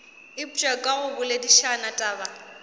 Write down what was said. eupša ka go boledišana taba